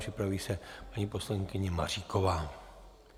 Připraví se paní poslankyně Maříková.